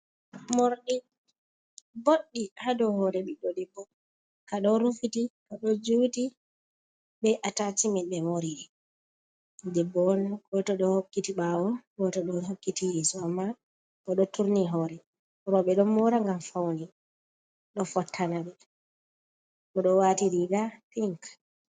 Morɗi boɗɗi ha dow hore biɗɗo debbo ka ɗo rufiti ka ɗo juti be atacimen ɓe moriri. Debbo on goto ɗo hokkiti ɓawo goto ɗo hokkiti yeso amma o ɗo turni hore. Rowɓe ɗo mora ngam faune ɗo fottana ɓe. O ɗo wati riga pinc.